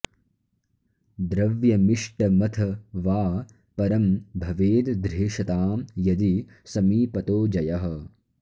द्रव्यमिष्टमथ वा परं भवेद् ध्रेषतां यदि समीपतो जयः